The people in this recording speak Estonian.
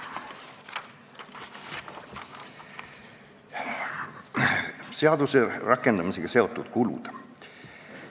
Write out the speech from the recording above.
Veidi ka seaduse rakendamisega seotud kuludest.